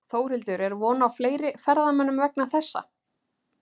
Þórhildur er von á fleiri ferðamönnum vegna þessa?